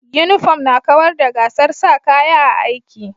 Uniform na kawar da gasar sa kaya a'aiki.